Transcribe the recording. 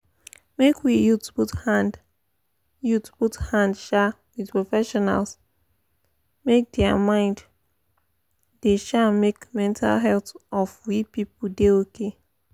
make we youths put hand youths put hand um with profeesionals make dia mind da um make mental health of we people da okay